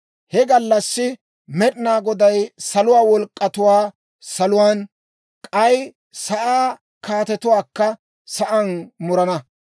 He gallassi Med'inaa Goday saluwaa wolk'k'atuwaa saluwaan, k'ay sa'aa kaatetuwaakka sa'aan murana.